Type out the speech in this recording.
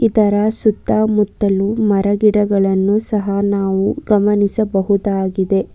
ಇದರ ಸುತ್ತ ಮುತ್ತಲು ಮರ ಗಿಡಗಳನ್ನು ಸಹ ನಾವು ಗಮನಿಸಬಹುದಾಗಿದೆ.